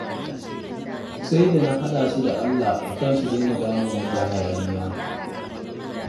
Sai da na haɗa su da Allah a kan su daina damunmu da hayaniya